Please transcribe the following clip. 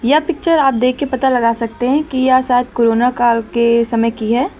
यह पिक्चर आप देख के पता लगा सकते हैं कि यह शायद कोरोना काल के समय की है।